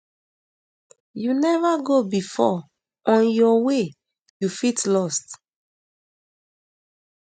you neva go before on your way you fit lost